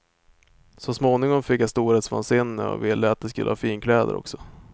Så småningom fick jag storhetsvansinne och ville att de skulle ha finkläder också.